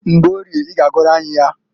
Mgborie i g'agụrụ anyị ya.